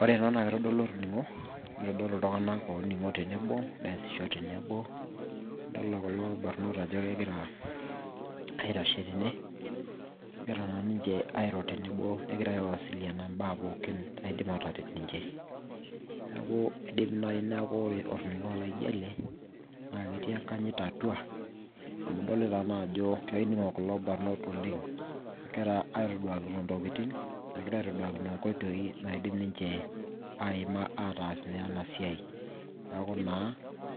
Ore ena naa keitodolu orning'o neitodolu iltung'anak ooning'o tenebo neesisho tenebo idolita kulo barnot ajo kegira aitashe tene egira naa ninche airo tenebo ngeira aiwasiliana imbaa pooki naidim aataret ninche neeku keidim naaji neeku ore orning'o laijio ele naa keetii enkanyit atua amu idolita naajo kening'o kulo barnot oleng egira aitoduakini intokitin egira aitoduakini inkoitoi naaidim ninche aima aataas ene siai jeeku naa